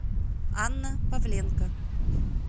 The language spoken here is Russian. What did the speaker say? анна павленко